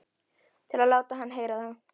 Til að láta hann heyra það?